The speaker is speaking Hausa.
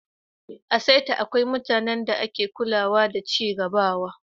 A'saita, akwai mutane da ke kulawa da cigabawa.